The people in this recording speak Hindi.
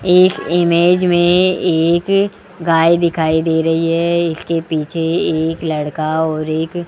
एक इमेज में एक गाय दिखाई दे रही है इसके पीछे एक लड़का और एक --